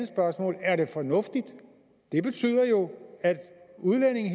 spørgsmål er er det fornuftigt det betyder jo at udlændinge